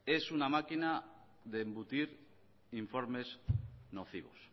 es una máquina de embutir informes nocivos